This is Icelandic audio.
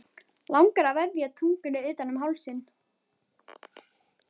Langar að vefja tungunni utan um hálsinn.